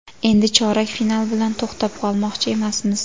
Endi chorak final bilan to‘xtab qolmoqchi emasmiz”.